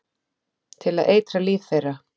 Til að eitra líf þeirra.